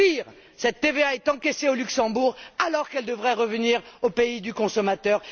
Pire, cette TVA est encaissée au Luxembourg alors qu'elle devrait revenir au pays du consommateur.